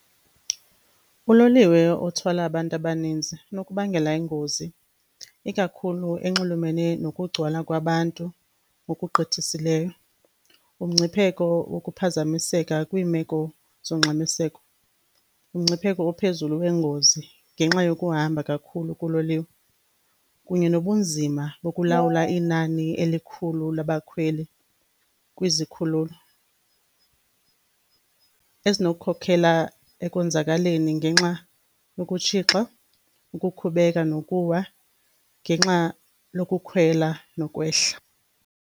Uloliwe othwala abantu abaninzi unokubangela ingozi ikakhulu enxulumene nokugcwala kwabantu ngokugqithisileyo. Umngcipheko wokuphazamiseka kwiimeko zongxamiseko, umngcipheko ophezulu wengozi ngenxa yokuhamba kakhulu kololiwe kunye nobunzima bokulawula inani elikhulu labakhweli kwizikhululo, ezinokukhokhela ekonzakaleni ngenxa yokutshixa, ukukhubeka nokuwa ngexa lokukhwela nokwehla.